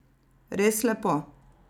Res lepo.